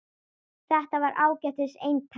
Þetta var ágætis eintak